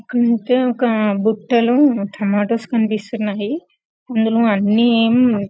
ఇక్కడైతే ఒక బుట్టలో టమాటోస్ కనిపిస్తున్నాయి అందులో అన్ని --.